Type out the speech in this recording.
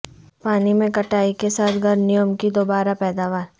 پانی میں کٹائی کے ساتھ گرننیوم کی دوبارہ پیداوار